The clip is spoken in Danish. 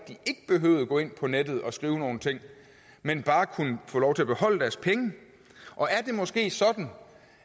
gå ind på nettet og skrive nogle ting men bare kunne få lov til at beholde deres penge og er det måske sådan